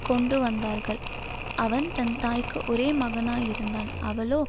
கொண்டுவந்தார்கள் அவன் தன் தாய்க்கு ஒரே மகனாயிருந்தான் அவளோ